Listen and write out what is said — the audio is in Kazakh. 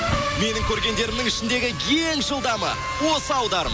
менің көргендерімнің ішіндегі ең жылдамы осы аударым